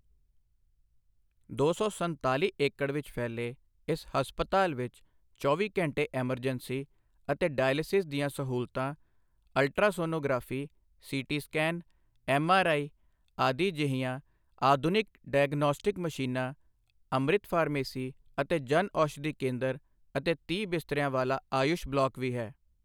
ਦੋ ਸੌ ਸੰਤਾਲੀ ਏਕੜ ਵਿੱਚ ਫੈਲੇ ਇਸ ਹਸਪਤਾਲ ਵਿੱਚ ਚੌਵੀ ਘੰਟੇ ਐਮਰਜੈਂਸੀ ਅਤੇ ਡਾਇਲਸਿਸ ਦੀਆਂ ਸਹੂਲਤਾਂ, ਅਲਟਰਾਸੋਨੋਗ੍ਰਾਫੀ, ਸੀਟੀ ਸਕੈਨ, ਐੱਮਆਰਆਈ ਆਦਿ ਜਿਹੀਆਂ ਆਧੁਨਿਕ ਡਾਇਗਨੌਸਟਿਕ ਮਸ਼ੀਨਾਂ, ਅੰਮ੍ਰਿਤ ਫਾਰਮੇਸੀ ਅਤੇ ਜਨ ਔਸ਼ਧੀ ਕੇਂਦਰ ਅਤੇ ਤੀਹ ਬਿਸਤਰਿਆਂ ਵਾਲਾ ਆਯੁਸ਼ ਬਲਾਕ ਵੀ ਹੈ।